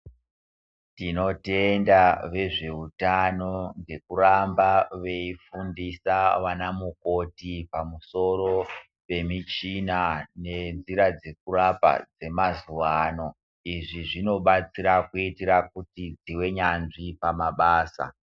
Tinotenda vezveutano ngekuramba veifundisa vanamukoti pamusoro pemichina nenzira dzekurapa dzemazuwa ano izvi zvinodetsera kuitira kuti tive nyanzvi pamabasa.